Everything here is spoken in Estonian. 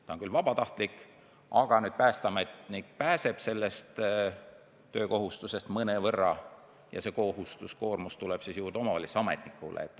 See on küll vabatahtlik, aga päästeametnikud pääsevad sellest töökohustusest mõnevõrra ja see koormus langeb omavalitsuse ametnikule.